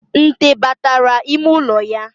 Nte batara ime ụlọ ya